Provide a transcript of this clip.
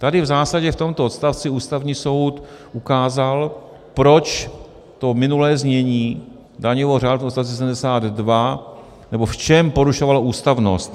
Tady v zásadě v tomto odstavci Ústavní soud ukázal, proč to minulé znění daňového řádu v odstavci 72 - nebo v čem porušovalo ústavnost.